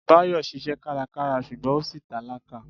Báyọ̀ ṣiṣẹ́ kárakára ṣùgbọ́n ó ṣì tálákà.